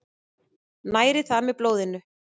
Næri það með blóðinu.